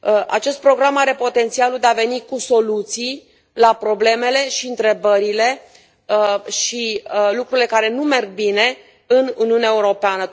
Acest program are potențialul de a veni cu soluții la problemele și întrebările și lucrurile care nu merg bine în Uniunea Europeană.